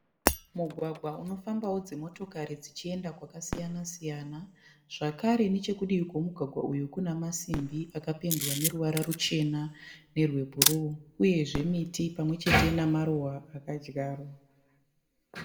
Mugwagwa unofambawo dzimotokari dzichienda kwakasiyana siyana. Zvakare nechekudivi kwemugwagwa uyu kune masimbi akapendwa neruvara ruchena nerwebhuruu uyezve miti pamwe chete nemaruva akadyarwa.